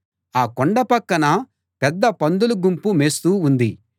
ఆ కొండ పక్కన పెద్ద పందుల గుంపు మేస్తూ ఉంది